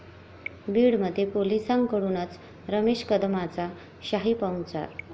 बीडमध्ये पोलिसांककडूनच रमेश कदमाचा शाही पाहुणचार